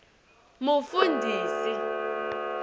mufundhisi